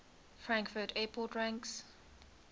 frankfurt airport ranks